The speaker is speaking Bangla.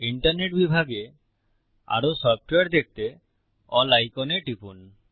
ইন্টারনেট বিভাগে আরো সফ্টওয়্যার দেখতে এএলএল আইকনে টিপুন